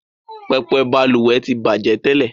Pẹpẹ Balùwè ti bajẹ tẹ́lẹ̀